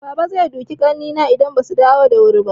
Baba zai duke ƙannaina idan basu dawo da wuri ba.